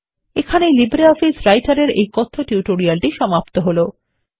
এখানেই LibreOffice Writer এর এই কথ্য টিউটোরিয়ালটি সমাপ্ত হলো